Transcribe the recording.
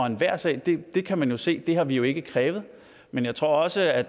enhver sag det kan man jo se det har vi jo ikke krævet men jeg tror også at